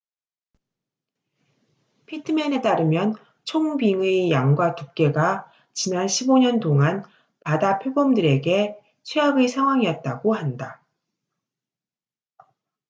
피트맨에 따르면 총빙의 양과 두께가 지난 15년 동안 바다표범들에게 최악의 상황이었다고 한다